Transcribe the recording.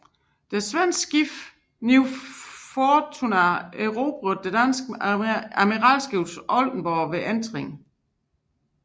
Det svenske skib New Fortuna erobrede det danske admiralskib Oldenborg ved entring